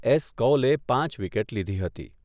S કૌલે પાંચ wicket લીધી હતી.